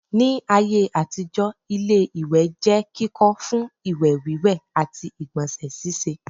Ní ayé àtijọ́ ilé-ìwẹ̀ jẹ́ kíkọ́ fún ìwẹ̀ wíwẹ̀ àti ìgbọ̀nsẹ̀ síse